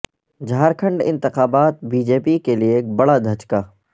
جھارکھنڈ انتخابات B J P کے لیے ایک بڑا دھچکا